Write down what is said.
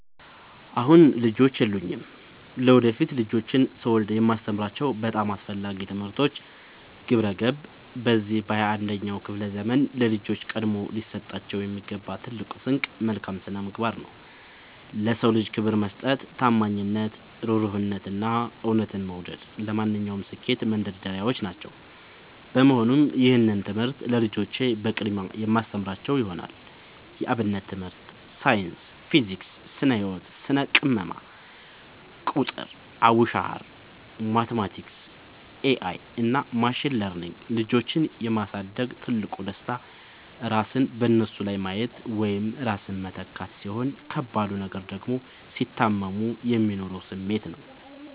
አሁን ልጆች የሉኝም። ለወደፊት ልጆችን ስወልድ የማስተምራቸው በጣም አስፈላጊ ትምህርቶች፦ 1. ግብረ-ገብ፦ በዚህ በ 21ኛው ክፍለ ዘመን ለልጆች ቀድሞ ሊሰጣቸው የሚገባው ትልቁ ስንቅ መልካም ስነምግባር ነው። ለ ሰው ልጅ ክብር መስጠት፣ ታማኝነት፣ እሩህሩህነት፣ እና እውነትን መውደድ ለማንኛውም ስኬት መንደርደሪያዎች ናቸው። በመሆኑም ይህንን ትምህርት ለልጆቼ በቅድሚያ የማስተምራቸው ይሆናል። 2. የ አብነት ትምህርት 3. ሳይንስ (ፊዚክስ፣ ስነ - ህወት፣ ስነ - ቅመማ) 4. ቁጥር ( አቡሻኽር፣ ማቲማቲክስ ...) 5. ኤ አይ እና ማሽን ለርኒንግ ልጆችን የ ማሳደግ ትልቁ ደስታ ራስን በነሱ ላይ ማየት ወይም ራስን መተካት፣ ሲሆን ከባዱ ነገር ደግሞ ሲታመሙ የሚኖረው ስሜት ነው።